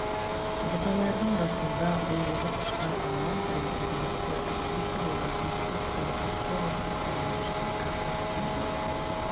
бұталардың басында ұйлығып ұшқан алуан түрлі көбелектер әсіресе олардың көп жері фактория қоршауының ішінен ағып өтетін бұлақ маңы